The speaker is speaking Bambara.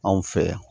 Anw fɛ yan